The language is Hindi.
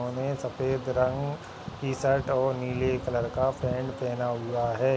सफ़ेद रंग की शर्ट और नील का पैंट पहना हुआ है।